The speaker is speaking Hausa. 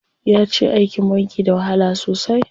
Yace aikin banki da wahala sosai.